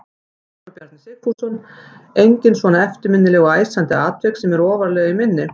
Ingólfur Bjarni Sigfússon: Engin svona eftirminnileg og æsandi atvik sem að eru ofarlega í minni?